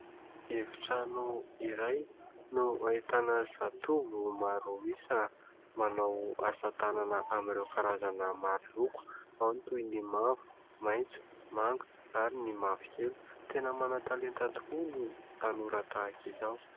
Efitrano iray no ahitana zatovo maro isa manao asa tanana amin'ireo karazana maroloko. Ao ny toy ny mavo, maitso, manga ary ny mavokely. Tena manan-talenta tokoa ny tanora tahaka izao.